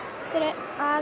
að